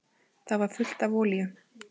Það var fullt af olíu.